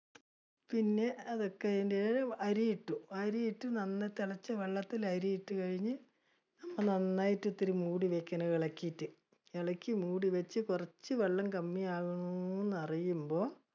പിന്നെ അതൊക്കെ കഴിഞ്ഞ് അരിയിട്ടു, അരിയിട്ട നന്നായി തിളച്ചു കഴിഞ്ഞ് വെള്ളത്തിലെ അരിയിട്ട് കഴിഞ്, നന്നായിട്ട് ഇത്തിരി മൂടി വെക്കണം ഇളക്കിയിട്ട്. ഇളക്കി മൂടി വെച്ച് കുറച്ച് വെള്ളം കമ്മി ആവണോന്ന് അറിയുമ്പോൾ